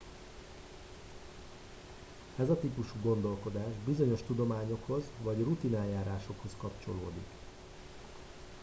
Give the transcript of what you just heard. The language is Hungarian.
ez a típusú gondolkodás bizonyos tudományokhoz vagy rutineljárásokhoz kapcsolódik